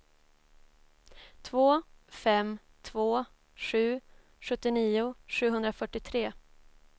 två fem två sju sjuttionio sjuhundrafyrtiotre